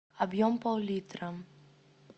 объем пол литра